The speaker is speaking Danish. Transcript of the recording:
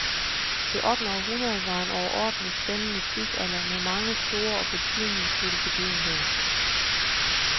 Det ottende århundrede var en overordentlig spændende tidsalder, med mange store og betydningsfulde begivenheder.